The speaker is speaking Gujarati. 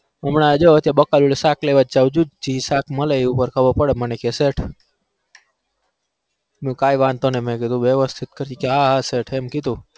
હમણાં બકા જોડ સક લેવા જુ જે સક મલે એ ખબ પદ મન મેં કીધું વેવ્સ્તીત કરજે હા હા sir